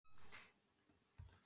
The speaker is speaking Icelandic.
Silfurbraut